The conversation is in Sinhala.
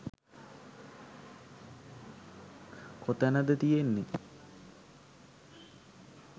කොතැනද තියෙන්නේ